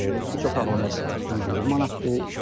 Üç otaqlımız 120 manatdır.